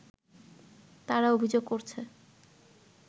তারা অভিযোগ করছে